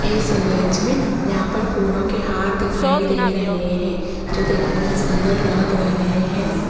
इस इमेज में यहां पर फूलों के हार दिखाई दे रहे हैं जो देखने में सुंदर लग रहे हैं।